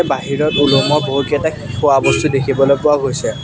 বাহিৰত ওলমোৱা বহুকেইটা খোৱা বস্তু দেখিবলৈ পোৱা গৈছে।